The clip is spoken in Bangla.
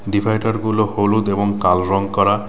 ডিভাইডার গুলো হলুদ এবং কালো রং করা.